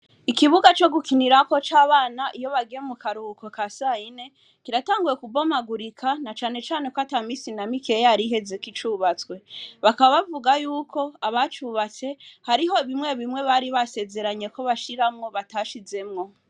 Ikibuga co gukinirako c'abana iyo bagiye mu karuhuko ka sayine kiratanguye kubomagurika na canecane ko ata misi na mikeya yariheze kicubatswe, bakaba bavuga yuko abacubatse hariho bimwe bimwe bari basezeranye ko bashiramwo batashizemwo.